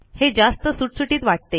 हे जास्त सुटसुटीत वाटते